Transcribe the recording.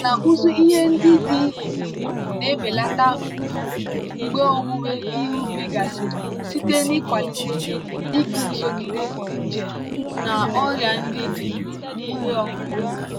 nkà na ụzụ ihe ndị dị ndụ na-ebelata mfu mgbe owuwe ihe ubi gasịrị site n'ịkwalite iguzogide nje na ọrịa ndị dị n'ihe ọkụkụ.